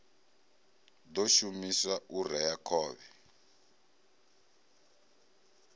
ḓo shumiswa u rea khovhe